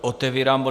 Otevírám bod